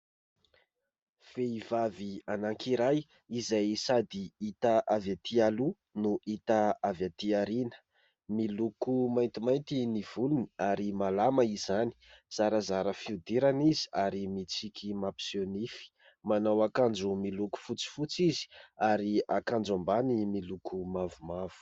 Vehivavy anankiray izay sady hita avy atỳ aloha no hita avy atỳ aoriana, miloko maintimainty ny volony, ary malama izany ; zarazara fihodirana izy ary mitsiky mampiseho nify, manao akanjo miloko fotsifotsy izy, ary akanjo ambany miloko mavomavo.